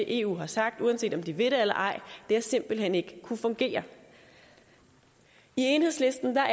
eu har sagt uanset om de vil eller ej simpelt hen ikke har kunnet fungere i enhedslisten er